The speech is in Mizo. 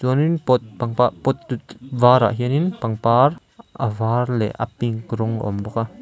chuan in pot pot varah hian in pangpar a var leh a pink rawng a awm bawk a.